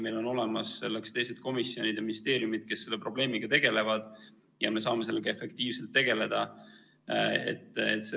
Meil on olemas selleks teised komisjonid või ministeeriumid, kes selle probleemiga tegelevad, ja me saame seal efektiivselt tegeleda.